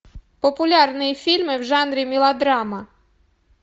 популярные фильмы в жанре мелодрама